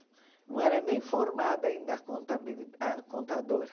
Não era nem formada ainda a contabili a contadora.